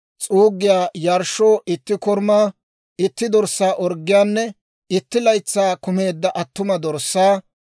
s'uuggiyaa yarshshoo itti korumaa, itti dorssaa orggiyaanne itti laytsay kumeedda attuma dorssaa;